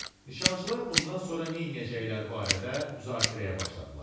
Nişançılar bundan sonra nə eləyəcəkləri barədə müzakirəyə başladılar.